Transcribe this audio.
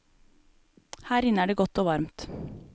Her inne er det godt og varmt.